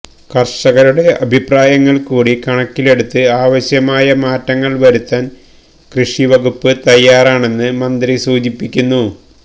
കര്ഷകരുടെ അഭിപ്രായങ്ങള് കൂടി കണക്കിലെടുത്ത് ആവശ്യമായ മാറ്റങ്ങള് വരുത്താന് കൃഷി വകുപ്പ് തയ്യാറാണെന്ന് മന്ത്രി സൂചിപ്പിക്കുന്നു